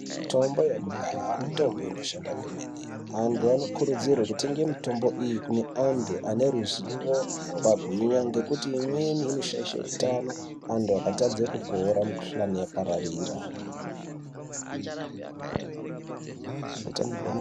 Mitombo yekudhaya mitombo inoshanda kwemene. Antu anokurudzirwa kutenge mitombo iyi kune antu ane ruzivo rwakagwinya ngekuti amweni anoshaisha hutano, antu akatadza kupora mukuhlani yapararira.